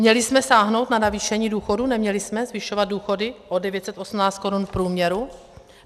Měli jsme sáhnout na navýšení důchodů, neměli jsme zvyšovat důchody o 918 korun v průměru?